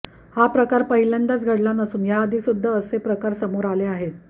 हा प्रकार पहिल्यांदाच घडला नसून याआधीसुद्धा असे प्रकार समोर आले आहेत